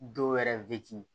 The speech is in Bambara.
Dɔw yɛrɛ